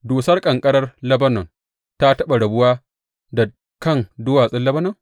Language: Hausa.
Dusar ƙanƙarar Lebanon ta taɓa rabuwa da kan duwatsun Lebanon?